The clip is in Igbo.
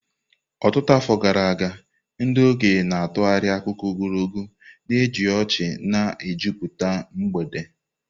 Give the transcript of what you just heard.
Ọtụtụ afọ gara aga, ndị okenye na-atụgharị akụkọ ogologo, na-eji ọchị na-ejupụta mgbede.